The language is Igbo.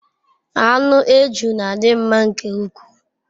Anu eju n'adi nma nke ukwu